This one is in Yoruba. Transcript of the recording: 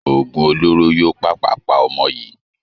OÒgùn olóró yóò pàpà pa ọmọ yìí.